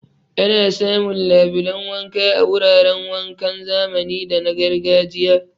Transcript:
Ana samun labulan wanka a wuraran wankan zamani da na gargajiya.